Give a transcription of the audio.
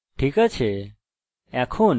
ঠিক আছে